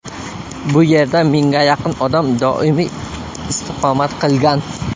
Bu yerda mingga yaqin odam doimiy istiqomat qilgan.